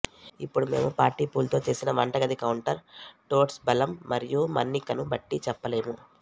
ఇప్పుడు మేము పార్టిపుల్తో చేసిన వంటగది కౌంటర్ టోర్ట్స్ బలం మరియు మన్నికను బట్టి చెప్పలేము